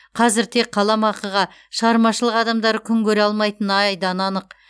қазір тек қаламақыға шығармашылық адамдары күн көре алмайтыны айдан анық